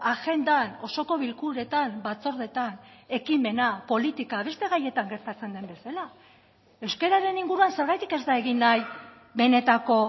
agendan osoko bilkuretan batzordetan ekimena politika beste gaietan gertatzen den bezala euskararen inguruan zergatik ez da egin nahi benetako